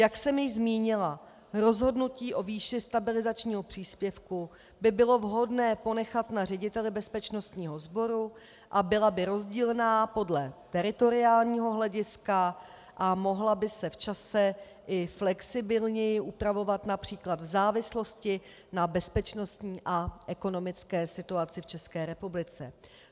Jak jsem již zmínila, rozhodnutí o výši stabilizačního příspěvku by bylo vhodné ponechat na řediteli bezpečnostního sboru a byla by rozdílná podle teritoriálního hlediska a mohla by se v čase i flexibilněji upravovat, například v závislosti na bezpečnostní a ekonomické situaci v České republice.